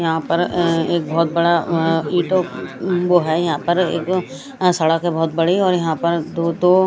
यहा पर अ एक बहुत बड़ा अ इतो वो है यहा पर एक अ सड़क हैं बहुत बड़ी और यहा पर दो दो--